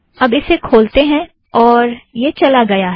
अब इसे खोलते हैं और यह चला गया है